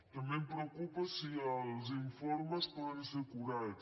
també em preocupa si els informes poden ser acurats